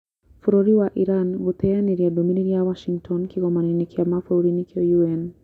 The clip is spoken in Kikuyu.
Bũrũri wa Iran gũteyanĩria ndũmĩrĩri ya Washington Kĩgomano-inĩ kĩa mabũrũri nĩkĩo UN